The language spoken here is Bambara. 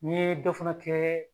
N ye dɔ fana kɛ